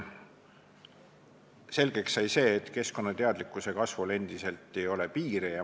Selgeks sai see, et keskkonnateadlikkuse kasvul ei ole endiselt piire.